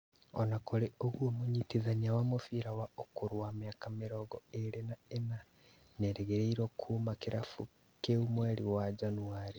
Ona kũrĩ ũguo mũnyitithania wa mũbĩra wa ũkũrũ wa mĩaka mĩrongo ĩrĩ na ĩnana, nĩerĩgĩrĩirwo kuma kĩrabu kĩu mweri wa Januarĩ